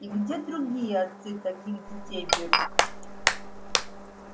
и где другие отцы таких детей берут